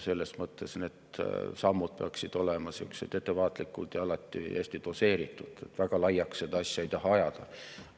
Selles mõttes peaksid need sammud olema ettevaatlikud ja alati hästi doseeritud, väga laiaks seda asja ei taha ajada.